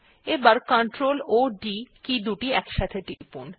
এবার ctrl ও d key একসাথে টিপুন